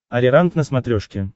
ариранг на смотрешке